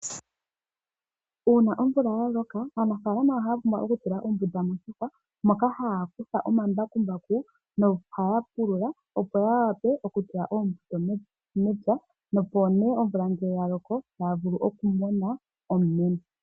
Uuna omvula ya loka, aanafaalama ohaya pumbwa okutula ombunda moshihwa moka haya kutha omambakumbaku nohaya pulula, opo ya wape okutula oombuto mevi mepya, opo nee omvula ngele ya loko taya vulu okumona omumeno.